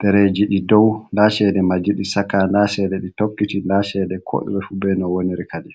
dereji ɗi dow da chede maji ɗi shaka nda chede ɗi tokkiɗi nda chede ko e fu be no woniri kadi